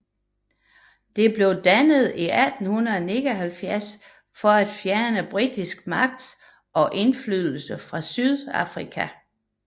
Det blev dannet i 1879 for at fjerne britisk magt og indflydelse fra Sydafrika